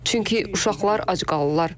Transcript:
Çünki uşaqlar ac qalırlar.